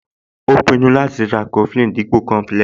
Ó pinnu láti ra coflin dípò cofex